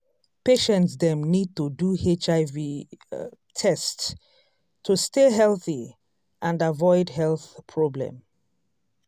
patients dem need to do hiv um test to stay healthy and avoid avoid health problem.